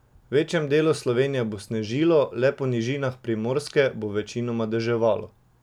V večjem delu Slovenije bo snežilo, le po nižinah Primorske bo večinoma deževalo.